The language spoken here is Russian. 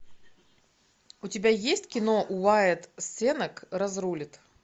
у тебя есть кино уайат сенак разрулит